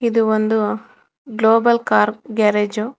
ಇದು ಒಂದು global car garage .